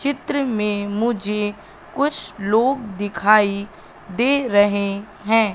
चित्र में मुझे कुछ लोग दिखाई दे रहे हैं।